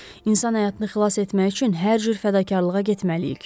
İnsan həyatını xilas etmək üçün hər cür fədakarlığa getməliyik.